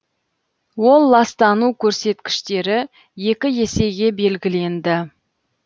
ол ластану көрсеткіштері екі есеге белгіленді